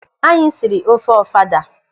Anyị siri ofe ofada.